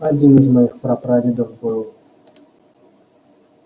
один из моих прапрадедов был